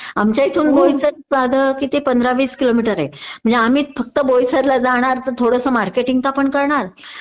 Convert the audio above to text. आमच्या इथून भोईसर साधं किती पंधरा वीस किलोमीटर आहे म्हणजे आम्ही फक्त भोईसर ला जाणार तर थोडस मार्केटिंग तर आपण करणार